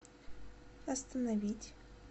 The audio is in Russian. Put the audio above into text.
остановить